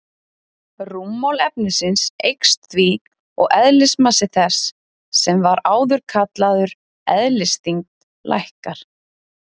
Rúmmál efnisins eykst því og eðlismassi þess, sem var áður kallaður eðlisþyngd, lækkar.